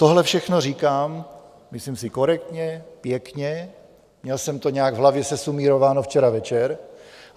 Tohle všechno říkám, myslím si, korektně, pěkně, měl jsem to nějak v hlavě sesumírováno včera večer.